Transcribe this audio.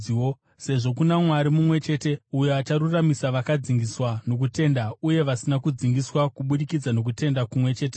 sezvo kuna Mwari mumwe chete uyo acharuramisira vakadzingiswa nokutenda uye vasina kudzingiswa kubudikidza nokutenda kumwe cheteko.